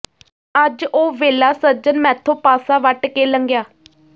ਅੱਜ ਉਹ ਵੇਲਾ ਸੱਜਣ ਮੈਥੋਂ ਪਾਸਾ ਵੱਟ ਕੇ ਲੰਘਿਆ